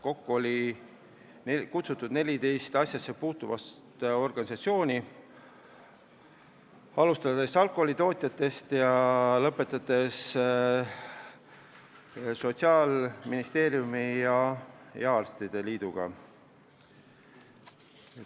Kokku olid esindatud 14 asjasse puutuvat asutust-organisatsiooni, alustades alkoholitootjatest ning lõpetades Sotsiaalministeeriumi ja arstide liiduga.